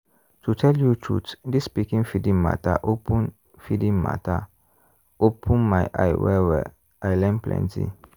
to tell you truth this pikin feeding matter open feeding matter open my eye well-well i learn plenty.